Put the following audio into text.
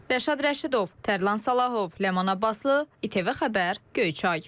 Rəşad Rəşidov, Tərlan Salahov, Ləman Abbaslı, İTV Xəbər, Göyçay.